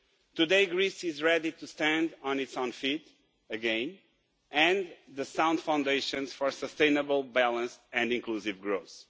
Today Greece is ready to stand on its own feet again and with the sound foundations for sustainable balance and inclusive growth.